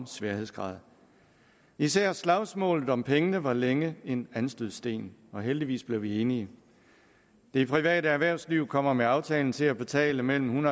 sværhedsgrad især slagsmålet om pengene var længe en anstødssten og heldigvis blev vi enige det private erhvervsliv kommer med aftalen til at betale mellem en